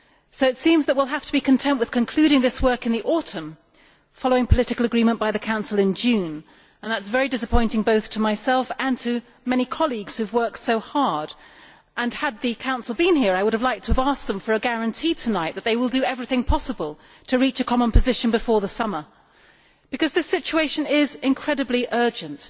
So it seems that we will have to be content with concluding this work in the autumn, following political agreement by the Council in June, and that is very disappointing both to myself and to many colleagues who have worked so hard. Had the Council been here I would have liked to have asked them for a guarantee tonight that they will do everything possible to reach a common position before the summer, because this situation is incredibly urgent.